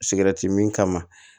Sigɛrɛti min kama